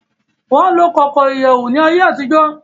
Won lo koko iyewu ni aye atijo.